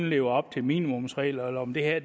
leve op til minimumsregler om det her